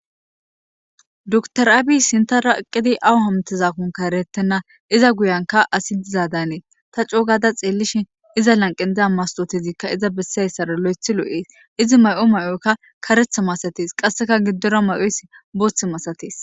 Dutoraabi sinta raqidi awu hamtezakkonka eretenna iza guyanka asi dizadanee ta coogada xeellishin iza lanqe diza mastotezikka iza bessiayssara lo'ethi lo'ees izi may'o may'oykka karetha masatees qasseka giddora may'oyss booththi masatees.